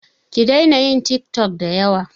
Ki daina yin tik tok da yawa